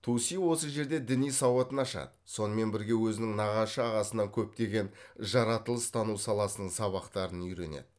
туси осы жерде діни сауатын ашады сонымен бірге өзінің нағашы ағасынан көптеген жаратылыс тану саласының сабақтарын үйренеді